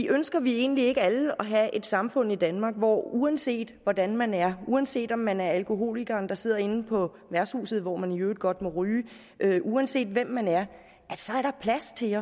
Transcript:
ønsker vi egentlig ikke alle at have et samfund i danmark hvor der uanset hvordan man er uanset om man er en alkoholiker der sidder inde på værtshuset hvor man i øvrigt godt må ryge uanset hvem man er er plads til